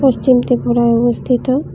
চিমটে ঘরাও অবস্থিত--